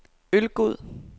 Ølgod